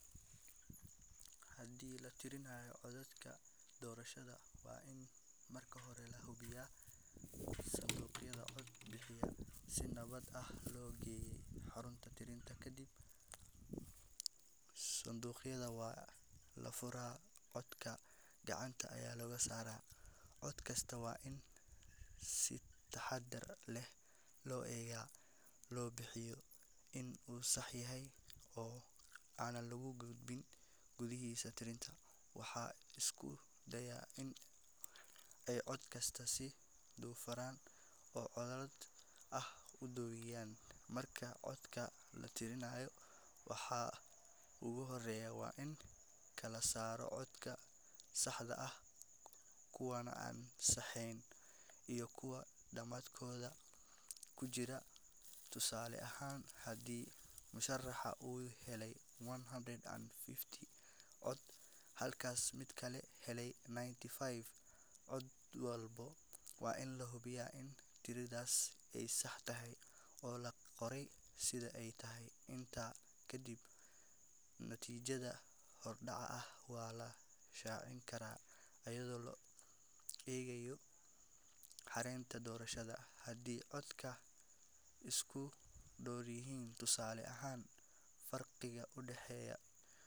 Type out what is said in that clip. Haddii la tirinayo codadka doorashada, waa in marka hore la hubiyaa in sanduuqyada cod bixinta si nabad ah loo geeyey xarunta tirinta. Kadib, sanduuqyada waa la furaa, codadkana gacanta ayaa looga saaraa. Cod kasta waa in si taxaddar leh loo eegaa si loo hubiyo in uu sax yahay oo aan lagu xadgudbin. Guddida tirinta waxay isku dayaan in ay cod kasta si daahfuran oo caddaalad ah u diiwaangeliyaan. Marka codadka la tirinayo, waxa ugu horreeya waa in la kala saaro codadka saxda ah, kuwa aan saxda ahayn, iyo kuwa madmadowga ku jira. Tusaale ahaan, haddii musharraxa uu helay one hundred and fifty cod, halka mid kale helay ninety-five cod, waa in la hubiyaa in tiradaas ay sax tahay oo loo qoray sida ay tahay. Intaa ka dib, natiijada hordhaca ah waa la shaacin karaa, iyadoo la ilaalinayo xeerarka doorashada. Haddii codadka ay isku dhow yihiin, tusaale ahaan farqiga u dhexeeya.